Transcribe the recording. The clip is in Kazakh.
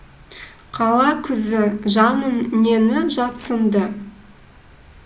қала күзі жаным нені жатсынды